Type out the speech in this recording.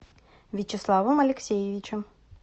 вячеславом алексеевичем